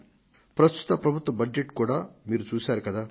ప్రస్తుత ప్రభుత్వ బడ్జెటును మీరు చూశారు కదా